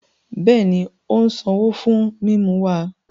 Bẹẹni, o n sanwo fún mímú wa